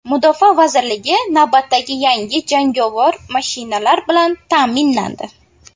Mudofaa vazirligi navbatdagi yangi jangovar mashinalar bilan ta’minlandi .